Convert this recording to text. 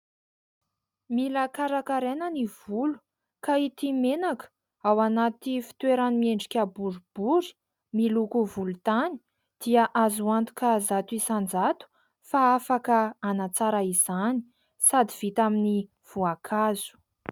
Mila karakaraina ny volo, ka ity menaka ao anaty fitoerany miendrika boribory miloko volontany dia azo antoka zato isan-jato fa afaka hanatsara izany, sady vita amin'ny voankazo.